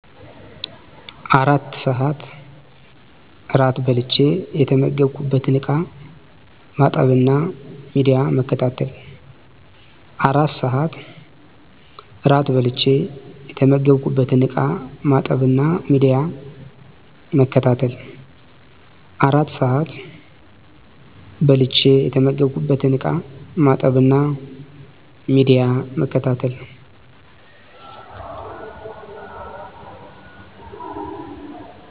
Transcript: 4 ስዐት እራት በልቸ የተመገብኩበትን እቃ ማጠብና ሚዲያ መከታተል